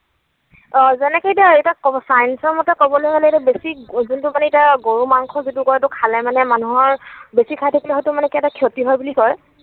অ যেনেকৈ এতিয়া, এতিয়া science ৰ মতে কবলৈ হলে যে এতিয়া বেছি যিটো মানে এতিয়া গৰু মাংস খালে মানে মানুহৰ বেছি খাই থাকিলে হয়তো কিবা ক্ষতি হয় বুলি কয়